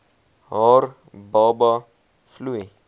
haar baba vloei